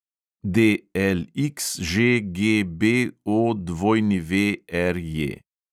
DLXŽGBOWRJ